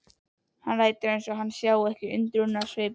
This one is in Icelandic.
Lætur sem hann sjái ekki undrunarsvipinn.